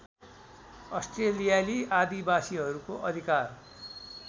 अस्ट्रेलियाली आदिवासीहरूको अधिकार